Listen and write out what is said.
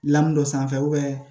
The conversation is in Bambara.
dɔ sanfɛ